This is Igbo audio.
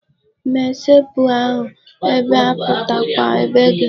Mesepụ ahụ, ebe a bụkwa be gị.